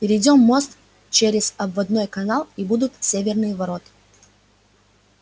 перейдём мост через обводной канал и будут северные ворота